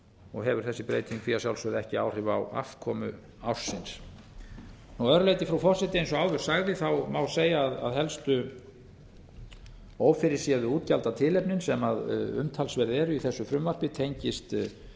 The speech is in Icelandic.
og hefur þessi breyting því að sjálfsögðu ekki áhrif á afkomu ársins að öðru leyti frú forseti eins og áður sagði má segja að helstu ófyrirséðu útgjaldatilefnin sem umtalsverð eru í þessum frumvarpi tengist